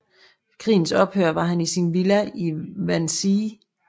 Ved krigens ophør var han i sin villa i Wannsee